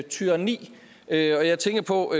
tyranni og jeg tænker på